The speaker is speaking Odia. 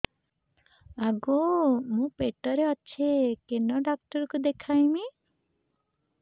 ଆଗୋ ମୁଁ ପେଟରେ ଅଛେ କେନ୍ ଡାକ୍ତର କୁ ଦେଖାମି